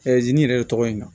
yɛrɛ tɔgɔ in na